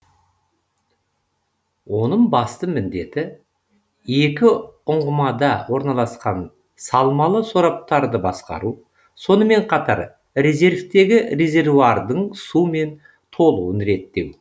оным басты міндеті екі үңғымада орналасқан салмалы сораптарды басқару сонымен қатар резервтегі резервуардың сумен толуын реттеу